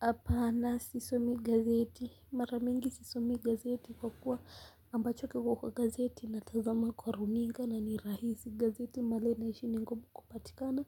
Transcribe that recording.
Hapana sisomi gazeti mara mingi sisomi gazeti kwa kuwa ambacho kiko kwa gazeti natazama kwa runinga na ni rahisi. Gazeti mahali ninaishi ni ngumu kupatikana